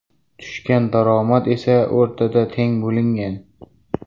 Tushgan daromad esa o‘rtada teng bo‘lingan.